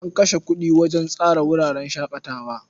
An kashe kuɗi wajen tsara wuraren shaƙatawa.